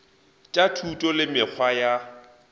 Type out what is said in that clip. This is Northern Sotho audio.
tša thuto le mekgwa ya